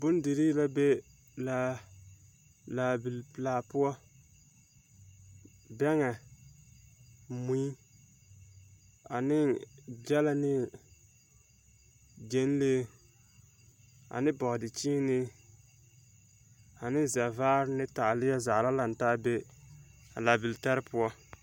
Bondirii la be laa, laabil pelaa poɔ, bɛŋɛ, mui ane gyɛlɛ ne gyɛnlee ane bɔdekyeenee ane zɛvaare ne taaleɛ zaa be laabil tare poɔ. 13414